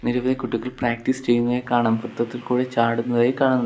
നിരവധി കുട്ടികൾ പ്രാക്ടീസ് ചെയ്യുന്നതായി കാണാം വൃത്തത്തിൽ കൂടെ ചാടുന്നതായും കാണുന്നു.